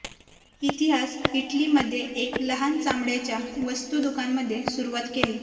इतिहास इटली मध्ये एक लहान चामड्याच्या वस्तू दुकान मध्ये सुरुवात केली